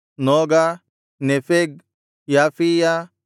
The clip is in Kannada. ನೋಗ ನೆಫೆಗ್ ಯಾಫೀಯ